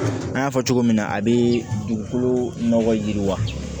An y'a fɔ cogo min na a bɛ dugukolo nɔgɔ yiriwa